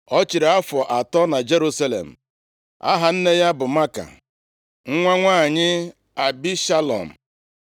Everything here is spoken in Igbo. Ọ chịrị afọ atọ na Jerusalem. Aha nne ya bụ Maaka, nwa nwanyị Abishalom.